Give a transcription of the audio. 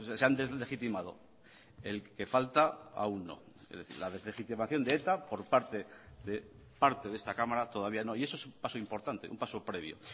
se han deslegitimado el que falta aún no es decir la deslegitimación de eta por parte de parte de esta cámara todavía no y eso es un paso importante un paso previo